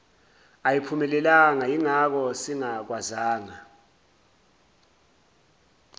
ayiphumelelanga yingakho singakwazanga